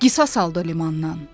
Qisas aldı limandan.